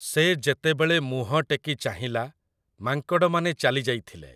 ସେ ଯେତେବେଳେ ମୁହଁ ଟେକି ଚାହିଁଲା ମାଙ୍କଡ଼ମାନେ ଚାଲି ଯାଇଥିଲେ ।